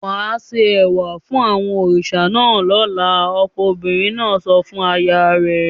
"Wà á se ẹ̀wà fún àwọn òrìṣà náà lọ́la!" Ọkọ obìnrin náà sọ fún aya rẹ̀.